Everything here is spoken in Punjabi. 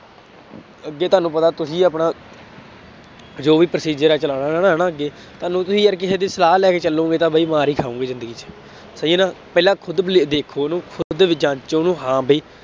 ਅੱਗੇ ਤੁਹਾਨੂੰ ਪਤਾ, ਤੁਸੀਂ ਆਪਣਾ ਜੋ ਵੀ procedure ਹੈ ਚਲਾਉਣਾ ਹੈ ਨਾ ਅੱਗੇ, ਕੱਲ ਨੂੰ ਤੁਸੀਂ ਯਾਰ ਕਿਸੇ ਦੀ ਸਲਾਹ ਲੈ ਕੇ ਚੱਲੋਗੇ ਤਾਂ ਬਈ ਮਾਰ ਹੀ ਖਾਉਗੇ ਜ਼ਿੰਦਗੀ ਚ, ਸਹੀ ਹੈ ਨਾ, ਪਹਿਲਾ ਖੁਦ belie ਵੇਖੋ ਉਹਨੂੰ, ਖੁਦ ਵੀ ਜਾਂਚੋ ਉਹਨੂੰ ਹਾਂ ਬਈ